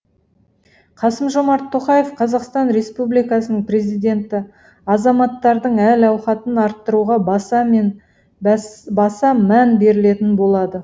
қасым жомарт тоқаев қазақстан республикасының президенті азаматтардың әл ауқатын арттыруға баса мән берілетін болады